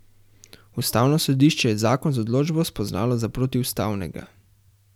Ustavno sodišče je zakon z odločbo spoznalo za protiustavnega.